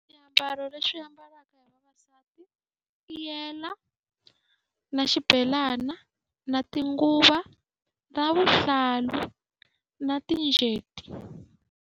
Swiambalo lexi ambariwaka hi vavasati i ti yele, na xibelana, na tinguvo, na vuhlalu na .